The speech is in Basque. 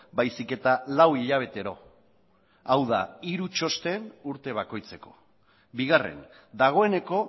baizik eta lau hilabetero hau da hiru txosten urte bakoitzeko bigarren dagoeneko